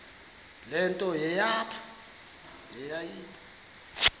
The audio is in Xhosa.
le nto yayipha